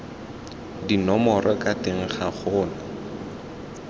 dinomoro ka teng ga gona